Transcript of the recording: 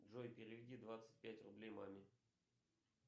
джой переведи двадцать пять рублей маме